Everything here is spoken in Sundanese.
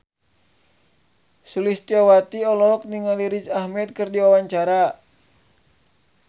Sulistyowati olohok ningali Riz Ahmed keur diwawancara